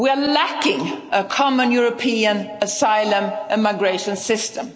States. We are lacking a common European asylum and migration